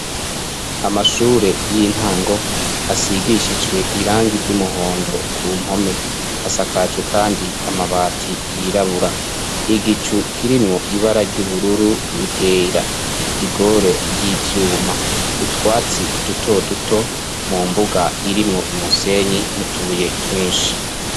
Amashure y'intango asigishijwe irangi ry'umuhondo ku mpome, asakajwe kandi amabati yirabura, igicu kirimwo ibara ry'ubururu niryera, igore ry'ivyuma .Utwatsi duto duto mu mbuga irimwo umusenyi nutubuye twinshi.